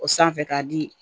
O sanfɛ k'a di